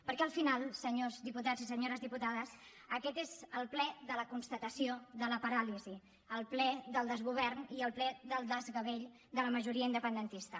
perquè al final senyors diputats i senyores diputades aquest és el ple de la constatació de la paràlisi el ple del desgovern i el ple del desgavell de la majoria independentista